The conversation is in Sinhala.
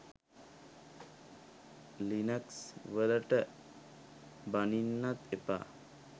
ලිනක්ස් වලට බනින්නත් එපා.